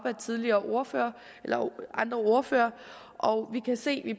af tidligere ordførere ordførere og vi kan se at vi